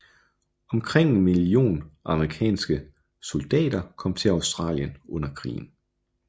Omkring en million amerikanske soldater kom til Australien under krigen